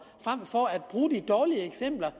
frem for at bruge de dårlige eksempler